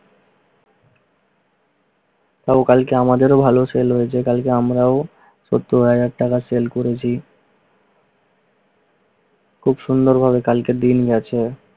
তাও কালকে আমাদেরও ভালোও sell হয়েছে। কালকে আমরাও সত্তর হাজার টাকা sell করেছি। খুব সুন্দরভাবে কালকের দিন গেছে।